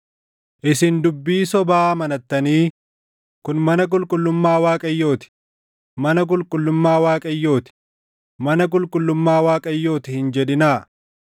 Isin dubbii sobaa amanattanii, “Kun mana qulqullummaa Waaqayyoo ti; mana qulqullummaa Waaqayyoo ti; mana qulqullummaa Waaqayyoo ti!” hin jedhinaa.